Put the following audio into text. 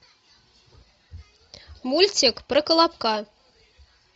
мультик про колобка